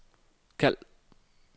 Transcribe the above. kald